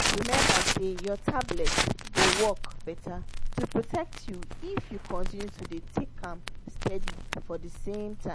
remember say your tablet go work better to protect you if you continue to dey take am steady for the same time.